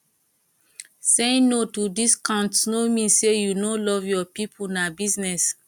saying no to discounts no mean say you no love your pipo na business